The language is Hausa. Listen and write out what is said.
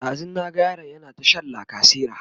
ɗazun na ga yaron yana ta Shan lacasera